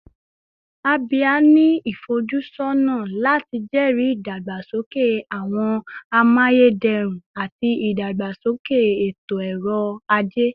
Abia ni ifojusọna lati jẹri idagbasoke awọn amayederun ati idagbasoke eto-ọrọ aje